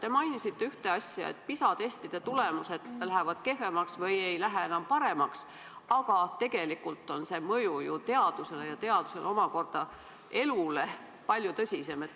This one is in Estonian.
Te mainisite ühte asja: PISA testide tulemused lähevad kehvemaks või ei lähe enam paremaks, aga tegelikult on see mõju ju teadusele – ja teadusel omakorda elule – palju tõsisem.